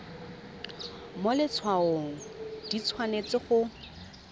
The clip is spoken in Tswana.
mo letshwaong di tshwanetse go